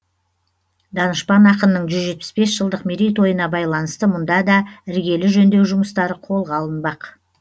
данышпан ақынның жүз жетпіс бес жылдық мерейтойына байланысты мұнда да іргелі жөндеу жұмыстары қолға алынбақ